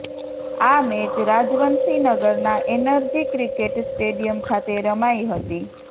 આ મેચ રાજવંશી નગરના એનર્જી ક્રિકેટ સ્ટેડિયમ ખાતે રમાઇ હતી